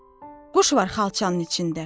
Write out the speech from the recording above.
O, quş var xalçanın içində.